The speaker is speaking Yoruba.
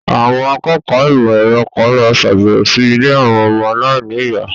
Àwọn akẹ́kọ̀ọ́ ìmọ̀ ẹ̀rọ kan lọ sàbẹ̀wò sí ilé àwọn ọmọ aláìníyàá.